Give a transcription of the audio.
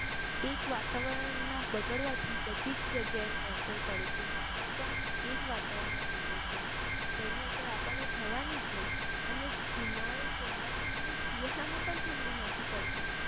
એક વાતાવરણના બગાડવા થી બધી જ જગ્યા એની અસર પડે છે માનવ પણ એ જ વાતાવરણ માં જીવે છે તેની અસર આપનને થવાની જ ને અને ઉનાળો ચોમાસું અને શિયાળા માં પણ ઠંડી નથી પડતી